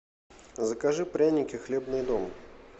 закажи пряники хлебный дом